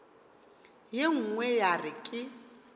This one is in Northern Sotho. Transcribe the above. ye nngwe ya re ke